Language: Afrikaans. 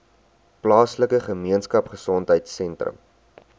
plaaslike gemeenskapgesondheid sentrum